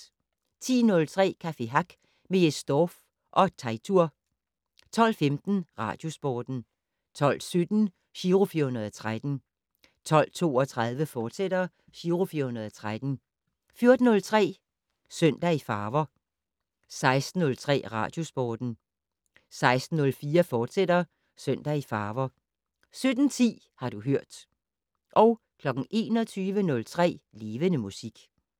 10:03: Café Hack med Jes Dorph og Teitur 12:15: Radiosporten 12:17: Giro 413 12:32: Giro 413, fortsat 14:03: Søndag i farver 16:03: Radiosporten 16:04: Søndag i farver, fortsat 17:10: Har du hørt 21:03: Levende Musik